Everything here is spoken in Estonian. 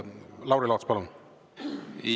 Lauri Laats, palun!